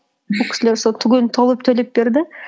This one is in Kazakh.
бұл кісілер сол түгелін төлеп берді